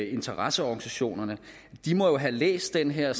interesseorganisationer de må jo have læst den her